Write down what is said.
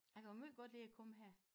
Jeg kan måj godt lide at komme her